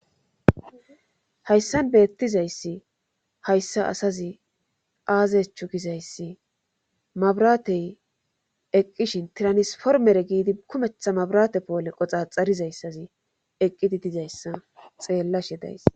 Hayssan beettizayssi hayssa asazi aazechu gizayssi mabratey eqqishin tiranisformere giidi kumetha mabrate poole qoxa xxarizayssazi eqqidi dizayssa xeellashe days.